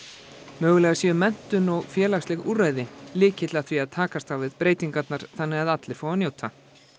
mögulega sé menntun og félagsleg úrræði lykill að því að takast á við breytingarnar þannig að allir fái að njóta